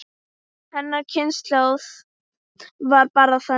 Hennar kynslóð var bara þannig.